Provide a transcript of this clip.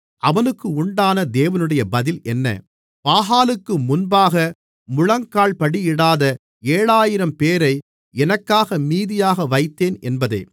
அவனுக்கு உண்டான தேவனுடைய பதில் என்ன பாகாலுக்கு முன்பாக முழங்கால்படியிடாத ஏழாயிரம்பேரை எனக்காக மீதியாக வைத்தேன் என்பதே